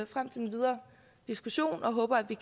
frem til den videre diskussion og håber at vi